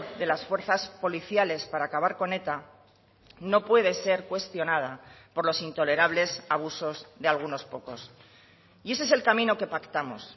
de las fuerzas policiales para acabar con eta no puede ser cuestionada por los intolerables abusos de algunos pocos y ese es el camino que pactamos